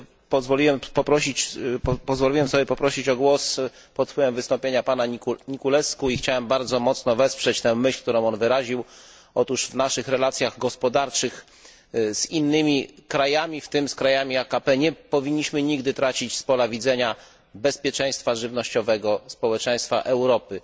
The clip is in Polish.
Pozwoliłem sobie poprosić o głos pod wpływem wystąpienia pana Niculescu i chciałem stanowczo wesprzeć myśl, którą on wyraził otóż w naszych relacjach gospodarczych z innymi krajami, w tym z krajami AKP, nie powinniśmy nigdy tracić z pola widzenia bezpieczeństwa żywnościowego społeczeństwa Europy.